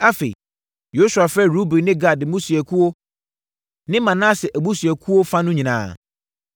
Afei, Yosua frɛɛ Ruben ne Gad mmusuakuo ne Manase abusuakuo fa no nyinaa.